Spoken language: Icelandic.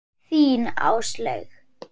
Þín, Áslaug.